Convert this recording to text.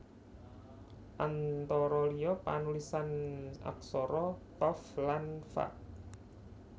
Antara liya panulisan aksara qaf lan fa